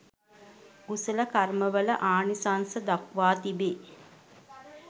කුසල කර්මවල ආනිසංස දක්වා තිබේ.